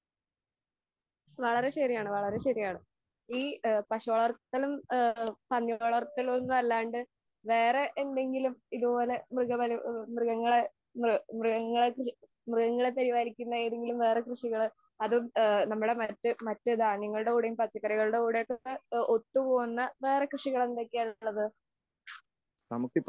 വളരെ ശരിയാണ് വളരെ ശരിയാണ്, വേറെ പശു വളർത്തലും പന്നിവളർത്തലും അല്ലാണ്ട് വേറെ എന്തെങ്കിലും ഇതുപോലെ മൃഗങ്ങളെ പരിപാലിക്കുന്ന വേറെ എന്തെങ്കിലും കൃഷികള് അതും നമ്മുടെ ധാന്യങ്ങളുടെ കൂടെയും പച്ചക്കറികളുടെ കൂടെയും ഒത്തുപോകുന്ന വേറെ കൃഷികൾ എന്തൊക്കെയാണ് ഉള്ളത്?